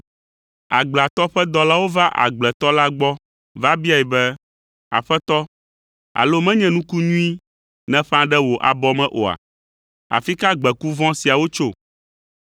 “Agbleatɔ ƒe dɔlawo va agbletɔ la gbɔ va biae be, ‘Aƒetɔ, alo menye nuku nyui nèƒã ɖe wò abɔ me oa? Afi ka gbeku vɔ̃ siawo tso?’